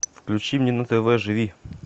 включи мне на тв живи